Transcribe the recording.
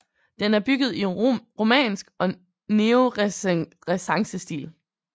Den er bygget i romansk og neorenæssancestil